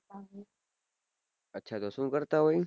અચ્છા તો શું કરતા હોય